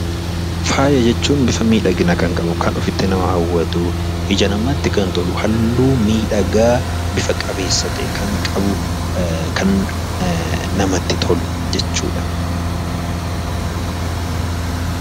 Faaya jechuun bifa miidhaginaa kan qabu, ofitti kan nama hawwatu, ija namaatti kan tolu, halluu miidhagaa bifa qabeessa ta'e kan qabu kan namatti tolu jechuudha.